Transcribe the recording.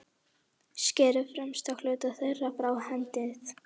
Skerið fremsta hluta þeirra frá og hendið.